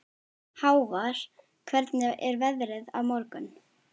Hávarr, hvernig er veðrið á morgun?